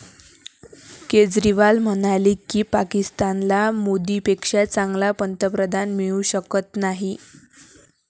केजरीवाल म्हणाले की, पाकिस्तानला मोदींपेक्षा चांगला पंतप्रधान मिळू शकत नाही.